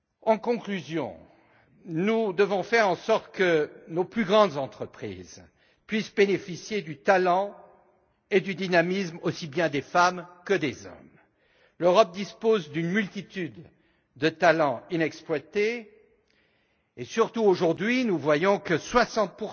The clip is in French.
En conclusion, nous devons faire en sorte que nos plus grandes entreprises puissent bénéficier du talent et du dynamisme aussi bien des femmes que des hommes. L'Europe dispose d'une multitude de talents inexploités et surtout, aujourd'hui, nous constatons que 60